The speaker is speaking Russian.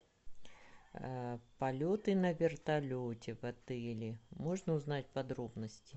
полеты на вертолете в отеле можно узнать подробности